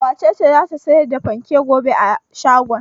Wace ce za ta sayar da fanken gobe a shagon?